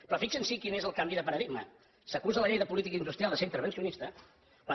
però fixin se quin és el canvi de paradigma s’acusa la llei de política industrial de ser intervencionista quan